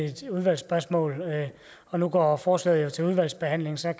et udvalgsspørgsmål nu går forslaget til udvalgsbehandling og så